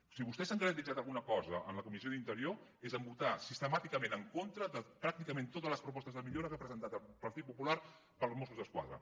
si vostès s’han caracteritzat per alguna cosa en la comissió d’interior és per haver votat sistemàticament en contra de pràcticament totes les propostes de millora que ha presentat el partit popular per als mossos d’esquadra